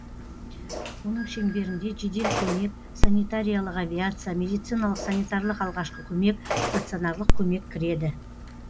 оның шеңберінде жедел көмек санитариялық авиация медициналық санитарлық алғашқы көмек станционарлық көмек кіреді